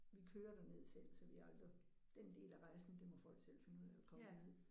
Vi kører derned selv så vi aldrig den del af rejsen det må folk selv finde ud af at komme derned